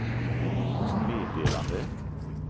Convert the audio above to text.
meddelande